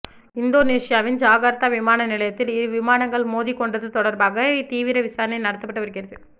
இந்தோனேசியாவின் ஜகார்தா விமான நிலையத்தில் இரு விமானங்கள் மோதிக் கொண்டது தொடர்பாக தீவிர விசாரணை நடத்தப்பட்டு வருகிறது